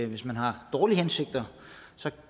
hvis man har dårlige hensigter